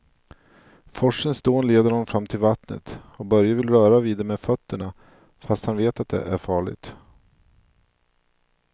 Forsens dån leder honom fram till vattnet och Börje vill röra vid det med fötterna, fast han vet att det är farligt.